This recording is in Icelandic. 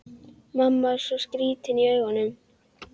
Mamma var svo skrýtin í augunum.